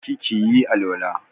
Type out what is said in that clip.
Je ki ki yi alwala!